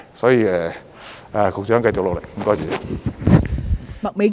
所以，局長，繼續努力。